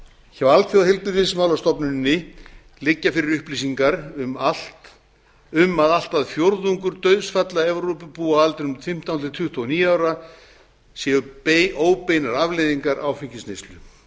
hjá alþjóðaheilbrigðismálastofnuninni liggja fyrir upplýsingar um að allt að fjórðungur dauðsfalla evrópubúa á aldrinum fimmtán til tuttugu og níu ára séu óbeinar afleiðingar áfengisneyslu